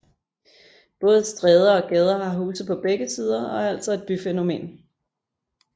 Både stræder og gader har huse på begge sider og er altså et byfænomen